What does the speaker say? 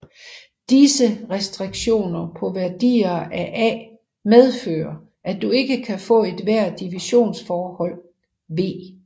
Disse restriktioner på værdier af A medfører at du ikke kan få ethvert divisionsforhold V